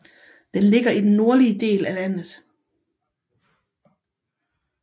Den ligger i den nordlige del af landet